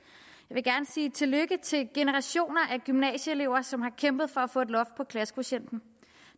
vil gerne sige tillykke til generationer af gymnasieelever som har kæmpet for at få et loft på klassekvotienten